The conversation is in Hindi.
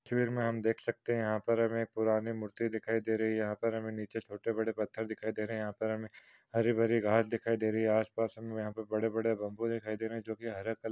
तस्वीर मे हम देख सकते है यहा पर हम पुरानी मूर्ति दिखाई दे रही है यहा पर हमे नीचे छोटे बड़े पत्थर दिखाई दे रहे है यहा पर हमे हरी भारी घास दिखाई दे रही है आसपास हमे बड़े बड़े बम्बु दिखाई दे रहे है जोके हरे कल --